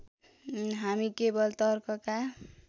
हामी केवल तर्कका